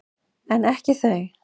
En ekki þau.